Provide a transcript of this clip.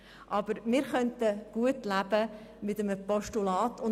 Aber wir könnten mit einem Postulat gut leben.